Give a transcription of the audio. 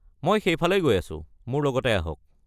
মই সেইফালেই গৈ আছোঁ, মোৰ লগতে আহক।